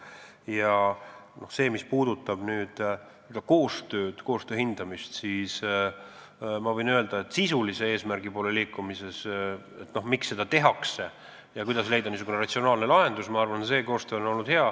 Ja mis puudutab selle koostöö hindamist, siis ma võin öelda, et sisulise eesmärgi poole liikumise mõttes – miks seda tehakse ja kuidas leida ratsionaalne lahendus – on koostöö minu arvates hea olnud.